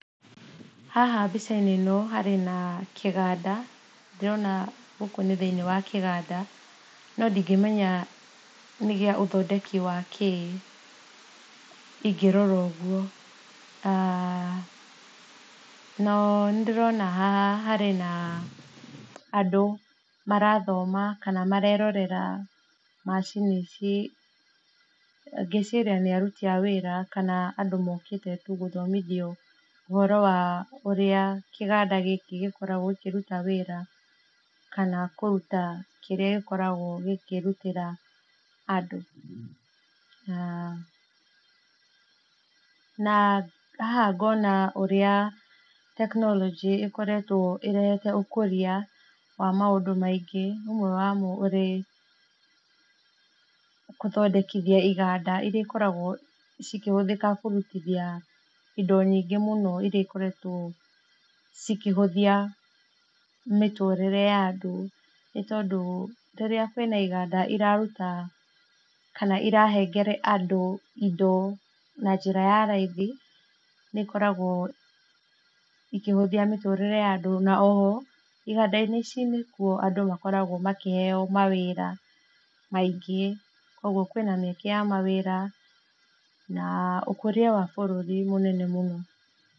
Haha mbica-inĩ ĩno harĩ na kĩganda ndĩrona gũkũ nĩ thĩinĩ wa kĩganda no ndongĩmenya nĩ gĩa ũthondeki wakĩ, niĩ ngĩrora ũguo nĩ ndĩrona haha hena andũ marathoma kana marerorera macini ici ngeciria nĩ aruti a wĩra kana andũ mokĩte tu gũthomithio, ũhoro wa ũrĩa kĩganda gĩkĩ gĩkoragwo gĩkĩruta wĩra, kana kũruta kĩrĩa gĩkoragwo gĩkĩrutĩra andũ, na na haha ngona ũrĩa tekinoronjĩ ĩkoretwo ĩrehete ũkũria wa maũndũ maingĩ, ũmwe wamo ũrĩ gũthondekithia iganda iria ikoragwo ikĩhũthĩka kũrutithia indo nyingĩ mũno iria ikoretwo cikĩhũthia mĩtũrĩre ya andũ, nĩ tondũ rĩrĩa kwĩna iganda iraruta kana iranengera andũ indo na njĩra ya raithi nĩ ikoragwo ikĩhũthia mĩtũrĩre ya andũ na oho iganda-inĩ ici nĩkuo andũ makoragwo makĩheo na wĩra aingĩ kwoguo kwĩna mĩeke ya mawĩra na ũkũria wa bũrũri mũnene mũno.